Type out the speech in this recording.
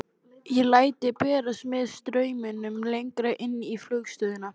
Ég læt berast með straumnum lengra inn í flugstöðina.